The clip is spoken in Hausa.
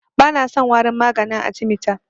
Bana son warin maganin arthemeter.